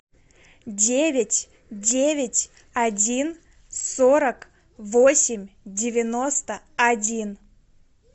девять девять один сорок восемь девяносто один